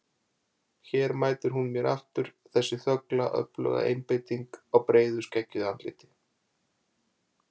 Hér mætir hún mér aftur, þessi þögla öfluga einbeiting á breiðu skeggjuðu andliti.